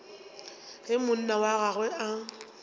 ge monna wa gagwe a